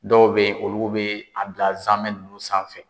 Dɔw be yen, olu bi a bila zanmɛ nunnu sanfɛ.